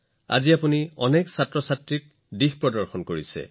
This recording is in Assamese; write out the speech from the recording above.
আৰু আজি আপুনি লাখ লাখ শিশুক সেই পথত লৈ গৈছে